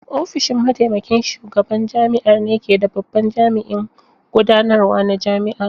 Ofishin Mataimakin Shugaban Jami'ar ne ke da babban jami'in gudanarwa na jami'a.